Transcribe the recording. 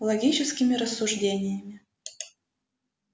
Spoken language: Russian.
логическими рассуждениями